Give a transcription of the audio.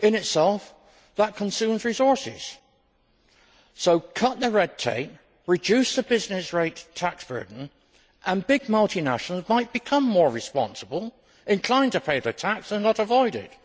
In itself that consumes resources, so cut the red tape, reduce the business rate tax burden, and big multinationals might become more responsible, inclined to pay their tax and not avoid it.